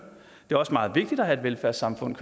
det er også meget vigtigt at have et velfærdssamfund